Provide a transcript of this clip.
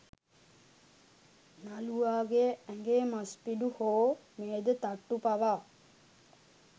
නළුවාගේ ඇඟේ මස් පිඩු හෝ මේද තට්ටු පවා